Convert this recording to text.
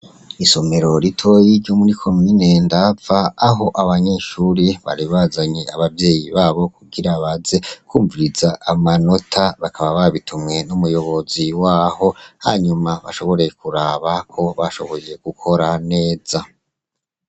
Isomero ritoyi ryo muri komine Ndava, aho abanyeshuri bari bazanye abavyeyi babo kugira baze kwumviriza amanota, bakaba babitumwe n'umuyobozi waho. Hanyuma bashobore kuraba ko bashoboye gukora neza.